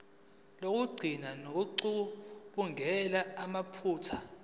lokugcina ngokucubungula amaphutha